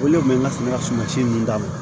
O le kun bɛ n ka sɛnɛ ka suma si nunnu d'a ma